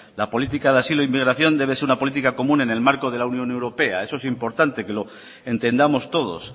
la política de asilo inmigración debe ser una política común en el marco de la unión europea eso es importante que lo entendamos todos